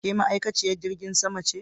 Ke ma'aikaciyen jirgin sama ce